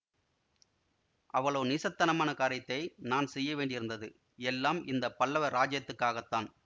அவ்வளவு நீசத்தனமான காரியத்தை நான் செய்யவேண்டியிருந்தது எல்லாம் இந்த பல்லவ இராஜ்யத்துக்காகத்தான்